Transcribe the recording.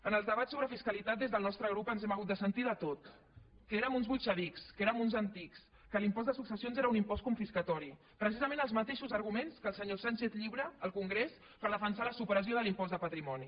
en els debats sobre fiscalitat des del nostre grup hem hagut de sentir de tot que érem uns bolxevics que érem uns antics que l’impost de successions era un impost confiscatori precisament els mateixos arguments que el senyor sánchez llibre al congrés per defensar la supressió de l’impost de patrimoni